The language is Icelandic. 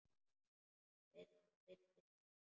Villist ekki!